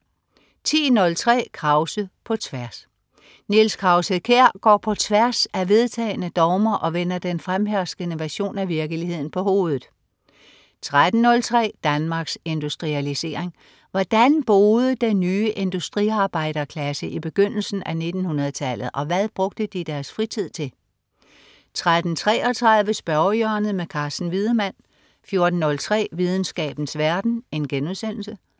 10.03 Krause på tværs. Niels Krause-Kjær går på tværs af vedtagne dogmer og vender den fremherskende version af virkeligheden på hovedet 13.03 Danmarks Industrialisering. Hvordan boede den nye industriarbejderklasse i begyndelsen af 1900-tallet, og hvad brugte de deres fritid til? 13.33 Spørgehjørnet. Carsten Wiedemann 14.03 Videnskabens verden*